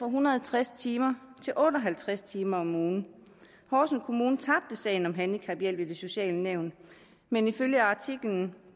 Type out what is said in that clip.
hundrede og tres timer til otte og halvtreds timer om ugen horsens kommune tabte sagen om handicaphjælp i det sociale nævn men ifølge artiklen